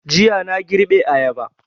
Jiya na girbe ayaba